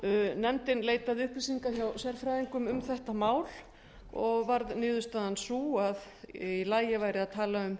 nefndin leitaði upplýsinga hjá sérfræðingum um þetta mál og varð niðurstaðan sú að í lagi færi að tala um